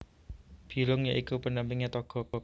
Bilung ya iku pendampinge Togog